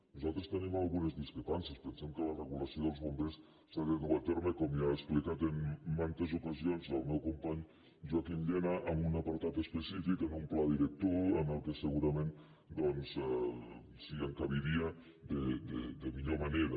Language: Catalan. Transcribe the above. nos·altres tenim algunes discrepàncies pensem que la re·gulació dels bombers s’ha de dur a terme com ja ha explicat en mantes ocasions el meu company joaquim llena en un apartat específic en un pla director en què segurament s’hi encabiria de millor manera